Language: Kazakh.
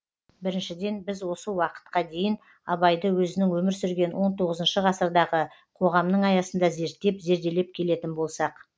біріншіден біз осы уақытқа дейін абайды өзінің өмір сүрген он тоғызыншы ғасырдағы қоғамның аясында зерттеп зерделеп келетін болсақ